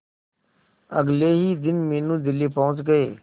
अगले ही दिन मीनू दिल्ली पहुंच गए